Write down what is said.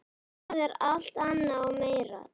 Það er alt annað og meira.